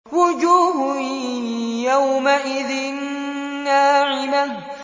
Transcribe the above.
وُجُوهٌ يَوْمَئِذٍ نَّاعِمَةٌ